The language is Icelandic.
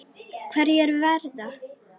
Hverjir verða?